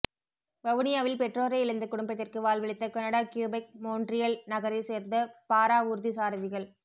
வவுனியாவில் பெற்றோரை இழந்த குடும்பத்திற்கு வாழ்வளித்த கனடா கியுபைக் மோன்றியல் நகரை சேர்ந்த பாராவூர்தி சாரதிகள்